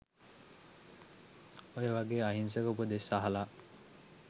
ඔය වගේ අහිංසක උපදෙස් අහල